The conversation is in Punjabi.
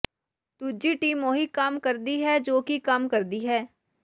ਦੂਜੀ ਟੀਮ ਉਹੀ ਕੰਮ ਕਰਦੀ ਹੈ ਜੋ ਕਿ ਕੰਮ ਕਰਦੀ ਹੈ